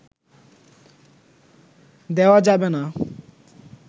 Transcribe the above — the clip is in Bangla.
দেওয়া যাবে না